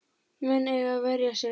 Menn eiga að verja sig.